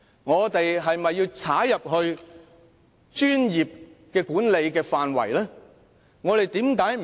我們是否要踏入專業管理的範圍？